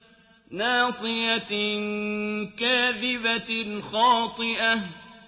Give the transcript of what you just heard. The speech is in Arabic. نَاصِيَةٍ كَاذِبَةٍ خَاطِئَةٍ